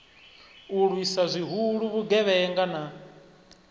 u lwisa zwihulu vhugevhenga na